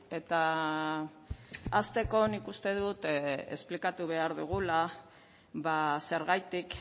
eta hasteko nik uste dut esplikatu behar dugula ba zergatik